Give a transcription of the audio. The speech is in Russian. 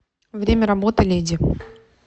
время работы леди